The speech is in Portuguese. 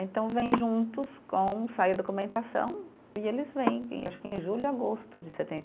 Então vem juntos com, sai a documentação e eles vêm, e acho que em julho ou agosto de setenta